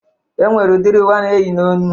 E nwere udiri uwe a na-eyi n'onu